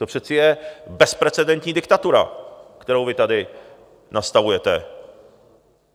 To přece je bezprecedentní diktatura, kterou vy tady nastavujete.